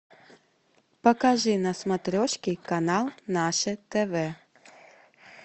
покажи на смотрешке канал наше тв